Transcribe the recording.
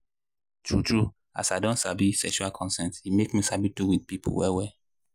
true true as i don sabi sexual consent e make me sabi how to do with people well well.